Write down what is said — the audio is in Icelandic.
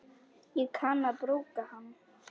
Ég kann að brúka hann.